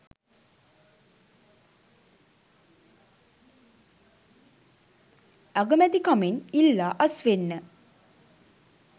අගමැතිකමෙන් ඉල්ලා අස්වෙන්න